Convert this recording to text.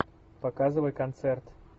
показывай концерт